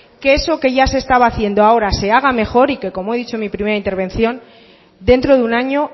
que eso que ya se estaba haciendo ahora se haga mejor y como he dicho en mi primera intervención dentro de un año